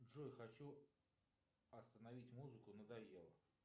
джой хочу остановить музыку надоело